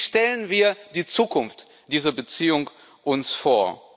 Wie stellen wir uns die Zukunft dieser Beziehung vor?